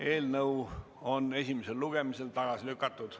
Eelnõu on esimesel lugemisel tagasi lükatud.